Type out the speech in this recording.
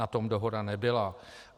Na tom dohoda nebyla.